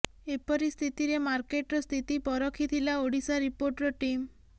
ଏପରି ସ୍ଥିତିରେ ମାର୍କେଟର ସ୍ଥିତି ପରଖିଥିଲା ଓଡ଼ିଶା ରିପୋର୍ଟର ଟିମ୍